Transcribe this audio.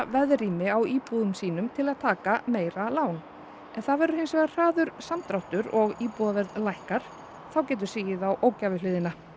veðrými á íbúðum sínum til að taka meira lán ef það verður hins vegar hraður samdráttur og íbúðaverð lækkar þá getur sigið á ógæfuhliðina